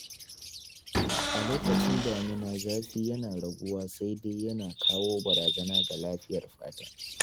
A lokacin damina zafi yana raguwa sai dai yana kawo barazana ga lafiyar fata.